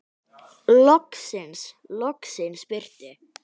Loksins, loksins birti.